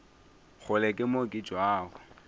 kgole ke mo ke tšwago